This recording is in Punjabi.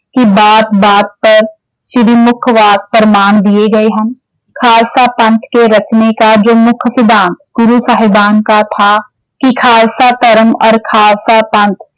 ਕੀ ਬਾਤ-ਬਾਤ ਪਰ ਸ਼੍ਰੀ ਮੁੱਖ ਪ੍ਰਮਾਣ ਦੀਏ ਗਏ ਹਨ। ਖਾਲਸਾ ਪੰਥ ਕੇ ਰਚਨੇ ਕਾ ਜੋ ਮੁੱਖ ਸਿਧਾਂਤ ਗੁਰੂ ਸਾਹਿਬਾਨ ਕਾ ਥਾ ਕਿ ਖਾਲਸਾ ਧਰਮ ਔਰ ਖਾਲਸਾ ਪੰਥ